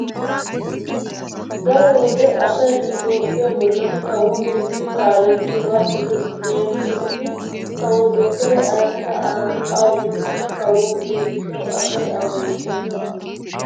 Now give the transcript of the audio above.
Daro wode asay nu toophphiya bollan kawo gididi kaalettiyogaa dosees. Leemisuwawi kawo dottore Ahimeda Abi awu biikkokka kawo gidiyo gishshawu asay a bonchchees.